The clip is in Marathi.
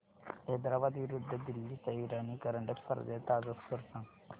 हैदराबाद विरुद्ध दिल्ली च्या इराणी करंडक स्पर्धेचा ताजा स्कोअर सांगा